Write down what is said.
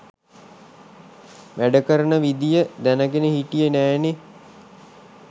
වැඩ කරන විදිය දැනගෙන හිටියේ නෑනේ.